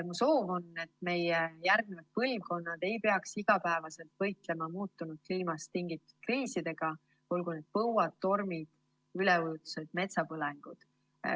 Mu soov on, et meie järgnevad põlvkonnad ei peaks igapäevaselt võitlema muutunud kliimast tingitud kriisidega, olgu need põuad, tormid, üleujutused või metsapõlengud.